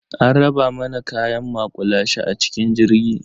An raba mana kayan maƙulashe a cikin jirgi.